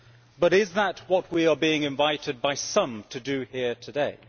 But is that what we are being invited by some to do here today?